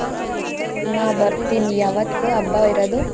ಹಾ ಬರ್ತೀನಿ ಯಾವತ್ತೂ ಹಬ್ಬ ಇರೋದು?